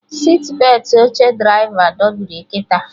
Sitbetị oche draịva dobiri kịta